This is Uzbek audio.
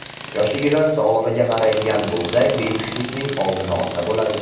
Yoshligidan sog‘lig‘iga qaraydigan bo‘lsak, bepushtlikning oldini olsa bo‘ladi.